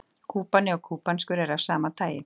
Kúbani og kúbanskur eru af sama tagi.